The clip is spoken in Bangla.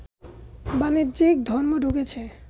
বাণিজ্যে ধর্ম ঢুকেছে